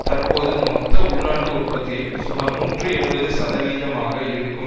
தற்போது மொத்த உள்நாட்டு உற்பத்தியில் சுமார் நூற்றி எழுபது சதவீதமாக இருக்கும்